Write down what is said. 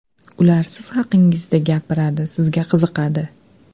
Ular siz haqingizda gapiradi, sizga qiziqadi.